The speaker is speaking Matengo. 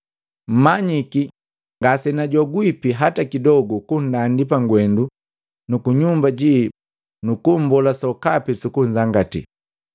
Mmanyiki ngasenajogwipi hata kidogu kunndandi pagwendu nu kunyumba ji nukumbola sokapi sukunzangatii.